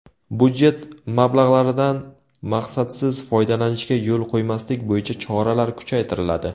Budjet mablag‘laridan maqsadsiz foydalanishga yo‘l qo‘ymaslik bo‘yicha choralar kuchaytiriladi.